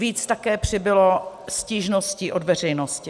Víc také přibylo stížností od veřejnosti.